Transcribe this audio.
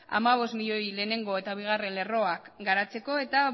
hamabost milioi lehenengo eta bigarren lerroak garatzeko eta